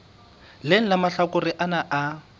leng la mahlakore ana a